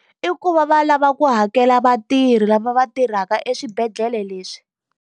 I ku va va lava ku hakela vatirhi lava va tirhaka eswibedhlele leswi.